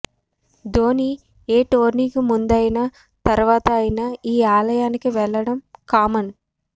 ధోనీ ఏ టోర్నీకి ముందు అయినా తరువాత అయినా ఈ ఆలయానికి వెళ్లడం కామన్